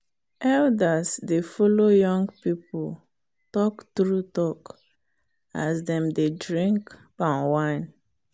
elders dey follow young people talk true talk as dem dey drink palm wine